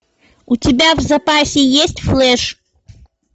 у тебя в запасе есть флэш